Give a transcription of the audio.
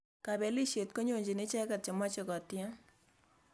Kapelisiet konyonjini ichek che machei ko tiem